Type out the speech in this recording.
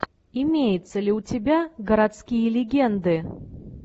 имеется ли у тебя городские легенды